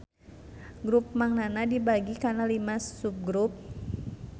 Grup Mang Nana dibagi kana lima subgrup